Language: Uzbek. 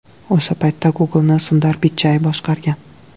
O‘sha paytda Google’ni Sundar Pichai boshqargan.